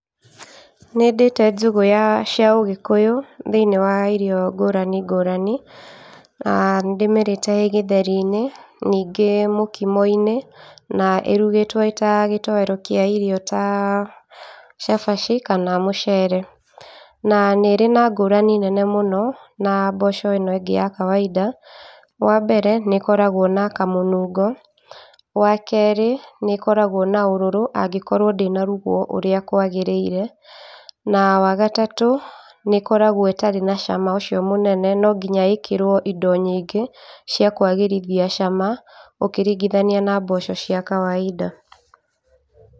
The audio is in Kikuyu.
Nĩndĩte njũgũ ya cia ũgĩkũyũ thĩinĩ wa irio ngũrani ngũrani. Nĩndĩmĩrĩte ĩ gĩtheri-inĩ ningĩ mũkimo-inĩ na ĩrugĩtwo ĩta gĩtoero kĩa irio ta cabaci kana mũcere. Na nĩirĩ na ngũrani nene mũno na mboco ĩno ĩngĩ ya kawaida. Wambere nĩĩkoragwo na kamũnungo. Wakerĩ nĩkoragwo na kaũrũrũ angĩkorwo ndĩnarugwo ũrĩa kwagĩrĩire na wagatatũ nĩ ĩkoragwo ĩtari na cama ũcio mũnene no nginya ĩkĩrwo indo nyingĩ cia kwagĩrithia cama ũkĩringĩthania na mboco cia kawaida.